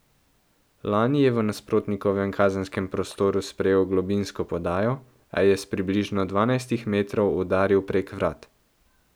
Nani je v nasprotnikovem kazenskem prostoru sprejel globinsko podajo, a je s približno dvanajstih metrov udaril prek vrat.